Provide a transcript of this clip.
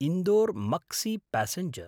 इन्दोर्–मक्सि passenger